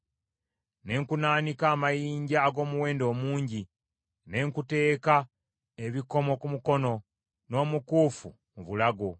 Ne kunaanika amayinja ag’omuwendo omungi; ne nkuteeka ebikomo ku mukono, n’omukuufu mu bulago,